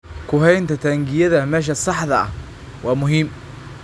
Ku haynta taangiyada meesha saxda ah waa muhiim.